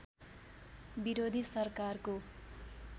विरोधी सरकारको